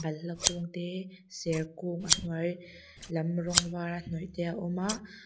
balhla kung te serkung a hnuai lam rawng vara hnawih te a awm a.